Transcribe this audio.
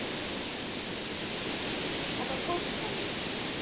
Þetta tókst henni.